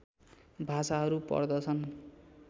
भाषाहरू पर्दछन्